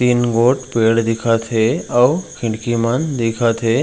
तीन गो पेड़ दिखत हे अऊ खिड़की मन दिखत हे।